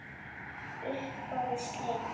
Uppboði slitið.